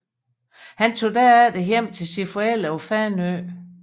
Han tog derefter hjem til sine forældre på Fanø